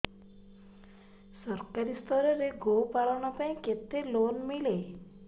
ସରକାରୀ ସ୍ତରରେ ଗୋ ପାଳନ ପାଇଁ କେତେ ଲୋନ୍ ମିଳେ